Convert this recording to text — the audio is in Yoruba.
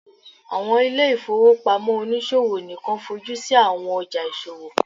awọn ile-ifowopamọ oniṣowo nikan fojusi awọn ọja iṣowo